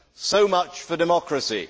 So much for democracy!